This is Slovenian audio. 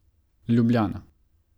Ljubljana.